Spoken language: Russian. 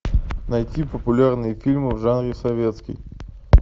найти популярные фильмы в жанре советский